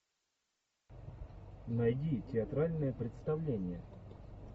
найди театральное представление